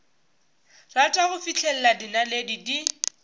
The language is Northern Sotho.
rata go fihlela dinaledi di